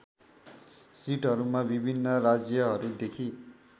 सिटहरूमा विभिन्न राज्यहरूदेखि